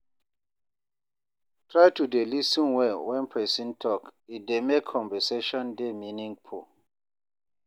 Try to dey lis ten well when person talk, it dey make conversation dey meaningful.